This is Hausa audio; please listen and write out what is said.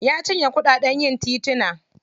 Ya cinye kuɗaɗen yin tituna.